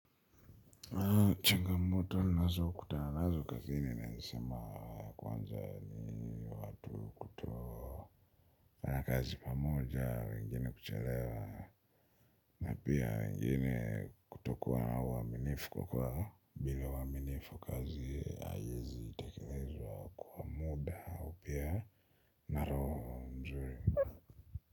Changamoto nazo kutana nazo kazini naeza sema kwanza ni watu kutofanya kazi pamoja wengine kuchelewa na pia wengine kutokuwa na uaminifu kwa kuwa bila uaminifu kazi haiwezi tekelezwa kuwa muda au pia na roho mzuri.